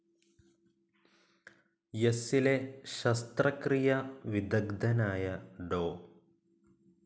എസ്സിലെ ശസ്ത്രക്രിയാ വിദഗ്ദ്ധനായ ഡോ.